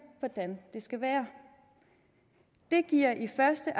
hvordan det skal være det giver i første